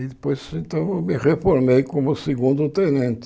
E depois, então, eu me reformei como segundo tenente.